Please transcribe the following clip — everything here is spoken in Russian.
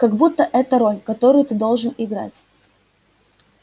как будто это роль которую ты должен играть